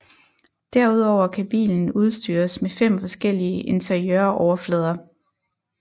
Derudover kan bilen udstyres med fem forskellige interiøroverflader